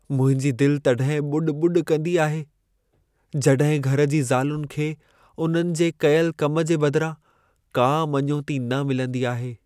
मुंहिंजी दिल तॾहिं ॿुॾ-ॿुॾ कंदी आहे, जॾहिं घर जी ज़ालुनि खे उन्हनि जे कयल कम जे बदिरां का मञोती न मिलंदी आहे।